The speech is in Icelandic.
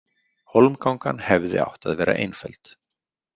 Hólmgangan hefði átt að vera einföld.